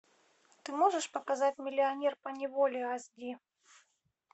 ты можешь показать миллионер поневоле ас ди